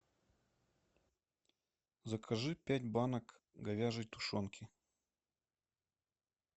закажи пять банок говяжей тушенки